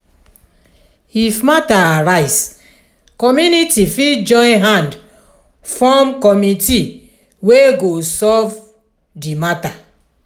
if matter arise community fit join hand from committee wey go solve do matter